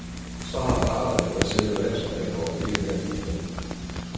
Så har parterne, hvad selve landsholdet angår, ikke mere at give hinanden.